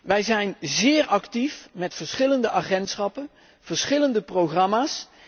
Wij zijn zeer actief met verschillende agentschappen, verschillende programma's.